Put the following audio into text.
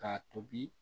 K'a tobi